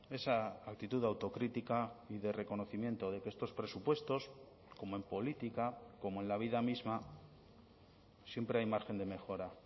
esa actitud de autocrítica y de reconocimiento de que estos presupuestos como en política como en la vida misma siempre hay margen de mejora